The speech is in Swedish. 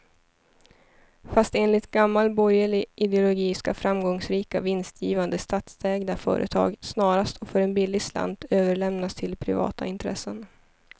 Fast enligt gammal borgerlig ideologi ska framgångsrika, vinstgivande statsägda företag snarast och för en billig slant överlämnas till privata intressen.